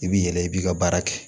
I b'i yɛlɛ i b'i ka baara kɛ